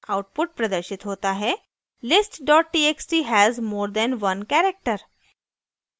output प्रदर्शित होता है list txt has more than one character